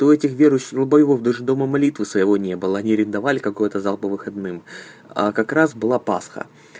то этих верующих долбоёбов даже дома молитвы своего не было они арендовали какой-то зал по выходным а как раз была пасха